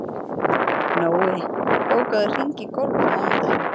Nói, bókaðu hring í golf á mánudaginn.